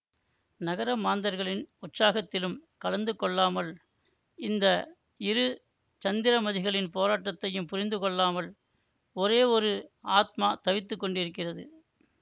நகர மாந்தர்களின் உற்சாகத்திலும் கலந்து கொள்ளாமல் இந்த இரு சந்திரமதிகளின் போராட்டத்தையும் புரிந்து கொள்ளாமல் ஒரே ஒரு ஆத்மா தவித்துக் கொண்டிருக்கிறது